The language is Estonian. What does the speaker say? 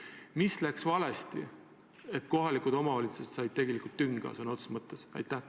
Mis läks ikkagi valesti, et kohalikele omavalitsustele tehti tegelikult tünga?